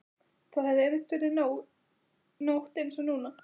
Það hafði einmitt verið nótt einsog núna.